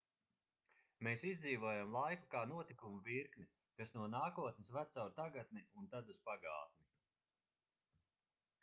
mēs izdzīvojam laiku kā notikumu virkni kas no nākotnes ved caur tagadni un tad uz pagātni